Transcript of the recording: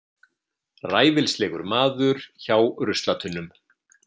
Ræfilslegur maður hjá ruslatunnum.